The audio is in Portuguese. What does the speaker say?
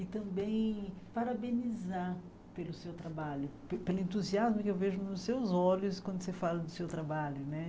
E também parabenizar pelo seu trabalho, pelo entusiasmo que eu vejo nos seus olhos quando você fala do seu trabalho, né?